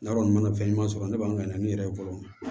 Ne kɔni mana fɛn ɲuman sɔrɔ ne b'an ɲɛ n yɛrɛ ye fɔlɔ